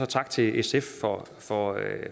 tak til sf for at